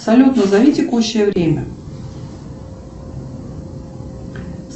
салют назови текущее время